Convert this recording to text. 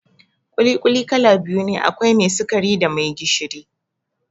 ƙuli-ƙuli kala biyu ne, akwai mai sikari da mai gishiri